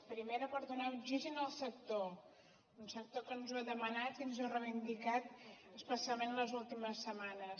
primera per donar oxigen al sector un sector que ens ho ha demanat i ens ho ha re·ivindicat especialment les últimes setmanes